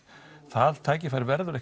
það tækifæri verður